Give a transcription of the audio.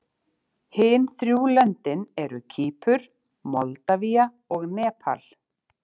Hin þrjú löndin eru Kýpur, Moldavía og Nepal.